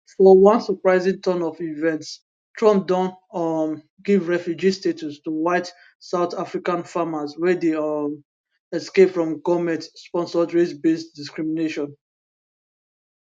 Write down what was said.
for one surprising turn of events trump don um give refugee status to white south african farmers wey dey um escape from goment sponsored racebased discrimination